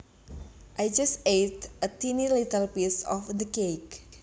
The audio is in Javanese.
I just ate a tiny little piece of the cake